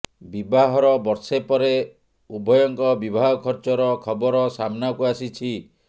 ବିବାହର ବର୍ଷେ ପରେ ଉଭୟଙ୍କ ବିବାହ ଖର୍ଚ୍ଚର ଖବର ସାମ୍ନାକୁ ଆସିଛି